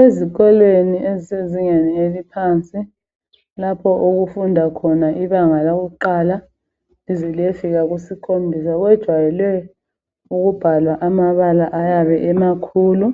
Ezikolweni zemfundo lezinga laphansi kujwayele ukubhalwa ngamabala amakhulu